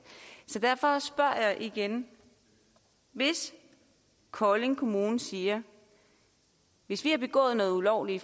så derfor spørger jeg igen hvis kolding kommune siger at hvis de har begået noget ulovligt i